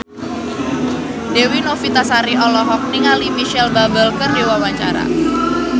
Dewi Novitasari olohok ningali Micheal Bubble keur diwawancara